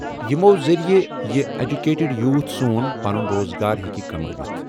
یِمو ذٔریعہٕ یہِ اٮ۪جوکیٹڈ یوٗتھ سون پنُن روزگار ہٮ۪کہِ کمٲیِتھ ۔